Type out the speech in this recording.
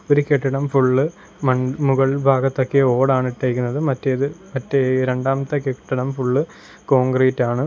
ഒരു കെട്ടിടം ഫുള്ള് മൺ മുകൾഭാഗത്ത് ഒക്കെ ഓടാണ് ഇട്ടേക്കുന്നത് മറ്റേത് മറ്റേ രണ്ടാമത്തെ കെട്ടിടം ഫുള്ള് കോൺഗ്രീറ്റാണ് .